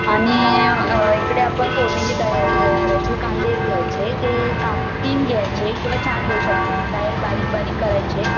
आणि इकडे आपण फोडणी ची तयारी वगैरे करायची, कांदे घ्यायचे ते काप तीन घ्यायचे किंवा चार घेऊ शकतेस, बारीक बारीक करायचे